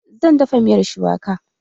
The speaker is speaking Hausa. Zan dafa miyar shuwaka